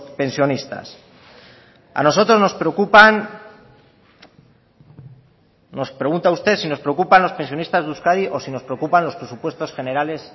pensionistas a nosotros nos preocupan nos pregunta usted si nos preocupan los pensionistas de euskadi o si nos preocupan los presupuestos generales